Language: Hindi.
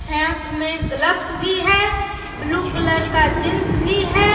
हाथ में ग्लव्स भी है ब्लू कलर का जींस भी है।